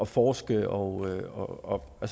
forske og og